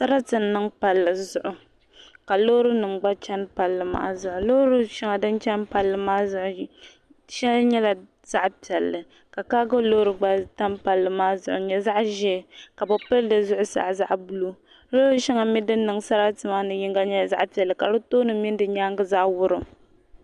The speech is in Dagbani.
Sarati n niŋ palli zuɣu ka loori nim gba chɛni palli maa zuɣu loori shɛŋa din chɛni palli maa zuɣu shɛli nyɛla zaɣ piɛlli ka kaago loori gba tam palli maa zuɣu n nyɛ zaɣ ʒiɛ ka bi pili di zuɣusaa zaɣ buluu loori shɛli din niŋ sarati maa mii nyɛla zaɣ piɛlli ka di tooni mini di nyaangi zaa wurim